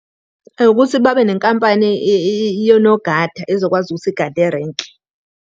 Ukuthi babe nenkampani yonogada ezokwazi ukuthi igade erenki.